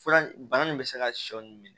Fura bana nin bɛ se ka sɔ nin minɛ